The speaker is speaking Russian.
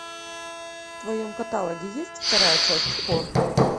в твоем каталоге есть вторая часть хор